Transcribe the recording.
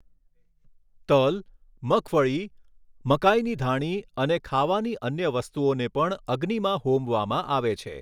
તલ, મગફળી, મકાઇની ધાણી અને ખાવાની અન્ય વસ્તુઓને પણ અગ્નિમાં હોમવામાં આવે છે.